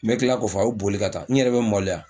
N bɛ tila k'a fɔ a bɛ boli ka taa n yɛrɛ bɛ maloya